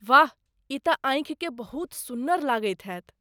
वाह! ई तऽ आँखिकेँ बहुत सुन्नर लागैत हेतय।